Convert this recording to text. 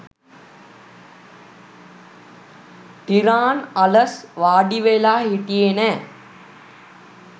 ටිරාන් අලස් වාඩිවෙලා හිටියේ නෑ.